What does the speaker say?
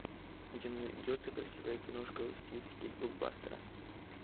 у тебя найдется красивая киношка в стилистике блокбастера